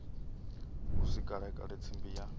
hu si kalekale tsimbi ya